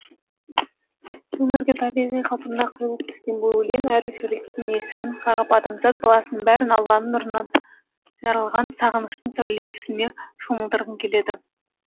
өмірге табиғи қалпында құйылып түскен бұл өлең әр жүректің есігін қағып адамзат баласының бәрін алланың нұрынан жаралған сағыныштың сәулесіне шомылдырғың келеді